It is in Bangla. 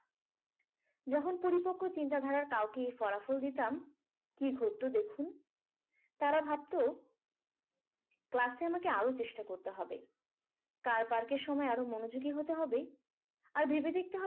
যখন পরিপক্ক চিন্তাধারায় কাউকে ফলাফল দিতাম কি হতো দেখুন তারা ভাবতো, class এ আমাকে আরো চেষ্টা করতে হবে। car park এর সময় আরো মনোযোগী হতে হবে। আর ভেবে দেখতে হবে